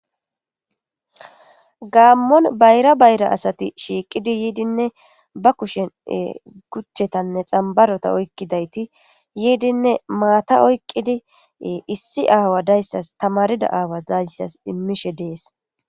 Gaamon bayra bayra asati shiiqid yoidinne ba kushen guchetanne xambarita otkidayti yoidinne maata oyqidi issi aawa daysas tamarida aawa daysas imishe de'es